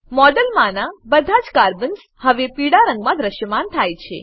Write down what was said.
મોડેલમાનાં બધા જ કાર્બન્સ હવે પીળા રંગમાં દ્રશ્યમાન થાય છે